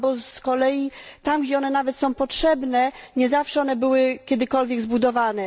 Z kolei tam, gdzie one nawet są potrzebne, nie zawsze one były kiedykolwiek zbudowane.